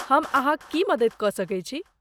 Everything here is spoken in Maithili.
हम अहाँक की मदति कऽ सकैत छी?